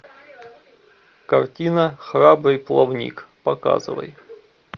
картина храбрый плавник показывай